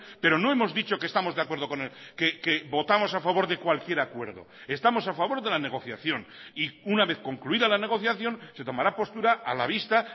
pero no hemos dicho que estamos de acuerdo con él que votamos a favor de cualquier acuerdo estamos a favor de la negociación y una vez concluida la negociación se tomará postura a la vista